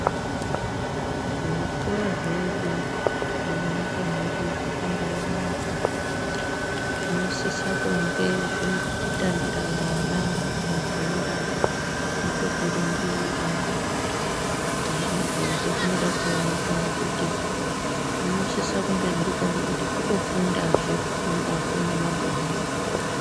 Zvikora zvedu zvemu nyika mwedu zvaka mbai naka zvino sisa kunge zvine peku tambira vana mabhora nepeku rumbira zvona izvozvo zvinoda kuoneka ngekuti zvino sisa kunge zviripo ngekuti kuto fundazve kurumbako ne mabhora.